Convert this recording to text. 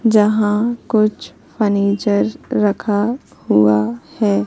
यहां कुछ फर्नीचर रखा हुआ है।